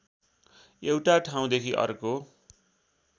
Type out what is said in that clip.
एउटा ठाउँदेखि अर्को